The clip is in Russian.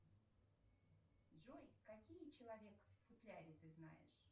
джой какие человек в футляре ты знаешь